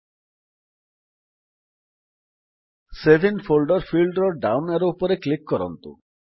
save in folder field down arrow ଉପରେ click କରନ୍ତୁ